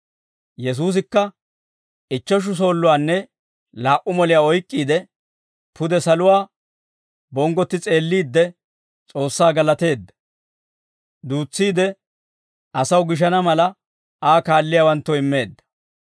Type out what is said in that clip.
Yesuusikka ichcheshu soolluwanne laa"u moliyaa oyk'k'iide, pude saluwaa bonggotti s'eelliidde S'oossaa galateedda; duutsiide, asaw gishana mala Aa kaalliyaawanttoo immeedda.